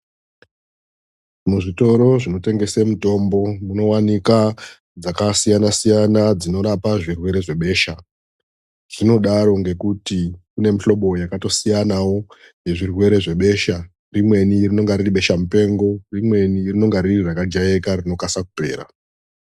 Muzvitoro zvinotengese mitombo munovanika dzakasiyana-siyana dzinorapa zvirwere zvebesha. Zvinodaro ngekuti kune muhlobo yakatosiyanavo nezvirere zvebesha. Rimweni rinenge riri besha mupengo rimweni ringenge riri rakagairika rinokasira kupera.